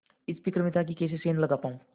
इस फिक्र में था कि कैसे सेंध लगा पाऊँ